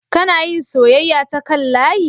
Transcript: Kana yin soyayya ta kan layi?